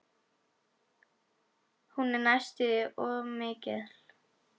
Hún er næstum því of mikil.